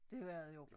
Det var det jo